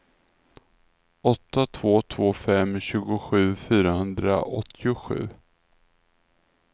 åtta två två fem tjugosju fyrahundraåttiosju